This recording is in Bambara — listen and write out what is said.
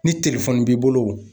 Ni b'i bolo.